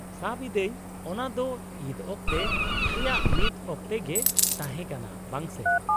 -ᱥᱟᱵ ᱮᱫᱟᱹᱧ ᱚᱱᱟ ᱫᱚ ᱤᱫ ᱚᱠᱛᱮ ᱨᱮᱭᱟᱜ ᱢᱤᱫ ᱚᱠᱛᱮ ᱜᱮ ᱛᱟᱦᱮᱸ ᱠᱟᱱᱟ, ᱵᱟᱝ ᱥᱮ ?